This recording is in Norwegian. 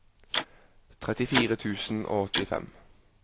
trettifire tusen og åttifem